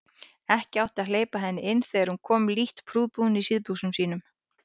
Ekki átti að hleypa henni inn þegar hún kom lítt prúðbúin í síðbuxunum sínum.